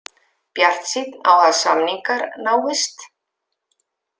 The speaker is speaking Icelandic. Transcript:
Bjartsýnn á að samningar náist